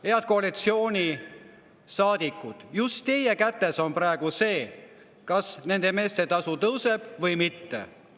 Head koalitsioonisaadikud, just teie kätes on praegu see, kas nende meeste tasu tõuseb või mitte.